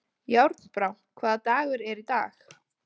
Járnbrá, hvaða dagur er í dag?